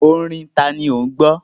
Orin tani ò ń gbọ́?